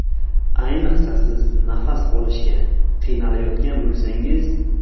Ayniqsa siz nafas olishga qiynalayotgan bo‘lsangiz.